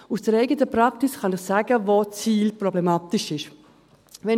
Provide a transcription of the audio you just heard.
Aus der eigenen Praxis kann ich Ihnen sagen, wo die SIL problematisch ist.